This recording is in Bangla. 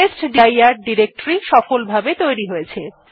টেস্টডির ডিরেক্টরী সফলভাবে তৈরী হয়েছে